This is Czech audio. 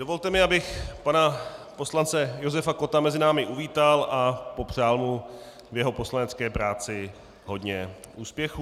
Dovolte mi, abych pana poslance Josefa Kotta mezi námi uvítal a popřál mu v jeho poslanecké práci hodně úspěchů.